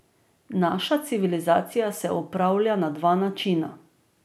Naša civilizacija se upravlja na dva načina.